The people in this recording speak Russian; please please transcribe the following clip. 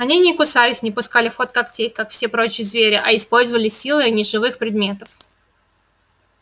они не кусались и не пускали в ход когтей как все прочие звери а использовали силы неживых предметов